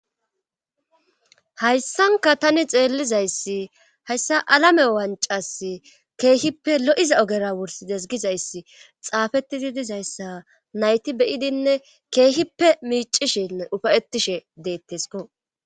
Hayssanka tani xeellizayssi hayssa alame wancas keehippe lo7iza ogera wursi desgizayssi xaafetidi dizayssa nayti beyidinne keehippe miicishin dhufayettishe deettesko.